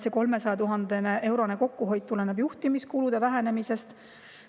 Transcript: See 300 000-eurone kokkuhoid tuleneb juhtimiskulude vähenemisest.